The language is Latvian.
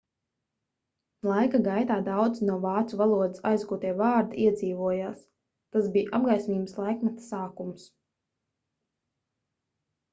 laika gaitā daudzi no vācu valodas aizgūtie vārdi iedzīvojās tas bija apgaismības laikmeta sākums